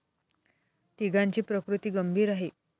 तिघांची प्रकृती गंभीर आहे.